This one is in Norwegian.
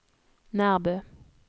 Nærbø